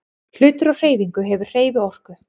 Hlutur á hreyfingu hefur hreyfiorku.